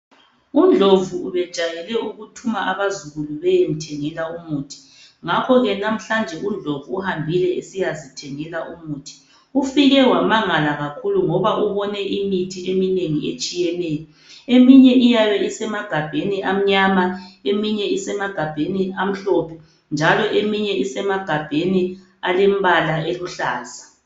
UNdlovu ubejayele ukuthuma abazukulu beyemthengela umuthi ngakho namhlanje UNdlovu uhambile esiyazithengela umuthi .Ufike wamangala kakhulu ngoba ubone imithi eminengi etshiyeneyo ,eminye iyabe isemagabheni amnyama ,eminye isemagabheni amhlophe ,njalo eminye isemagabheni alembala eluhlaza.